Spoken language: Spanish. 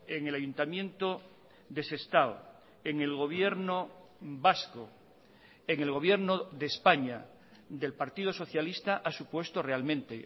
en el ayuntamiento de sestao en el gobierno vasco en el gobierno de españa del partido socialista ha supuesto realmente